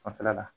Fanfɛla la